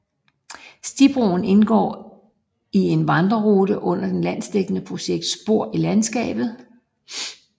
Stibroen indgår i en vandrerute under det landsdækkende projekt Spor i Landskabet